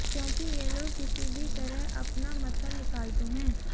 क्योंकि ये लोग किसी भी तरह अपना मतलब निकालते हैं